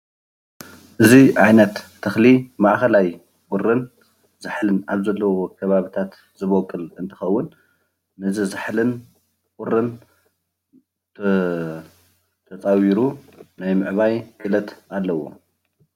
እዚ ዓይነት ተክሊ ማእከላይ ቁርን ዛሕልን ኣብ ዘለዎ ከባቢታት ዝወቅል እንትከውን ነዚ ዛሕልን ቁርን ተፃዊሩ ናይ ምዕባይ ክእለት ኣለዎ፡፡